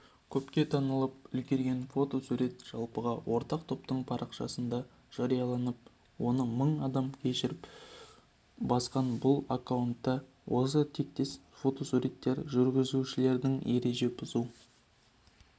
көпке танылып үлгерген фотосурет жалпыға ортақ топтың парақшасындажарияланып оны мың адам көшіріп басқан бұл аккаунтта осы тектес фотосуреттер жүргізушілердің ереже бұзу